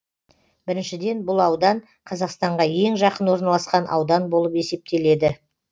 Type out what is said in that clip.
біріншіден бұл аудан қазақстанға ең жақын орналасқан аудан болып есептеледі